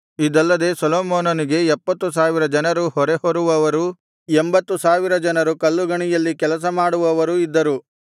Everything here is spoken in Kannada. ಇದಲ್ಲದೆ ಸೊಲೊಮೋನನಿಗೆ ಎಪ್ಪತ್ತು ಸಾವಿರ ಜನರು ಹೊರೆ ಹೊರುವವರೂ ಎಂಭತ್ತು ಸಾವಿರ ಜನರು ಕಲ್ಲುಗಣಿಯಲ್ಲಿ ಕೆಲಸ ಮಾಡುವವರೂ ಇದ್ದರು